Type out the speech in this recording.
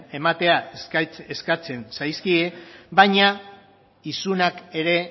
ematea eskatzen zaizkie baina isunak ere